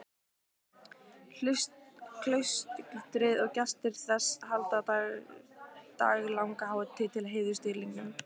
Klaustrið og gestir þess halda daglanga hátíð til heiðurs dýrlingnum.